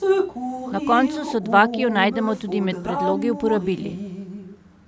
Na koncu so dva, ki ju najdemo tudi med predlogi, uporabili.